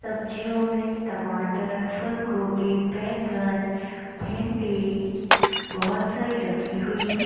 सब्जियों में टमाटर फुल-गोबी बैंगन भिंडी बहोत सारी रखी हुई हैं।